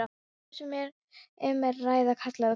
hvort sem um er að ræða karla eða konur.